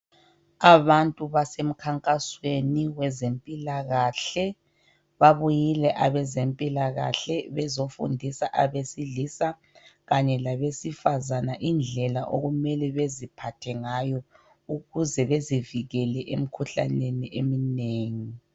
Abantu basemkhankasweni wezempilakahle babuyile abezempilakahle bezofundisa abesilisa kanye labesifazana indlela okumele beziphathe ngayo ukuze bezikikele emkhuhlaneni eminengi.